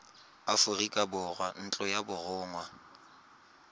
aforika borwa ntlo ya borongwa